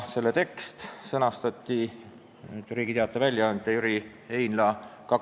Selle tekst sõnastati koostöös Riigi Teataja väljaandja Jüri Heinlaga.